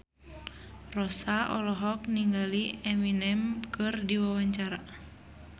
Rossa olohok ningali Eminem keur diwawancara